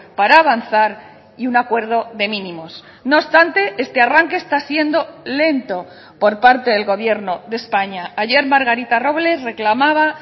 para avanzar y un acuerdo de mínimos no obstante este arranque está siendo lento por parte del gobierno de españa ayer margarita robles reclamaba